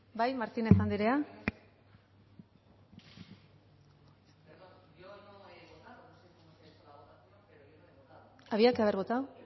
bai martínez andrea había que haber votado